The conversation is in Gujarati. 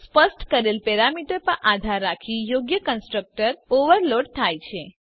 સ્પષ્ટ કરેલ પેરામીટર પર આધાર રાખી યોગ્ય કન્સ્ટ્રક્ટર ઓવરલોડ થાય છે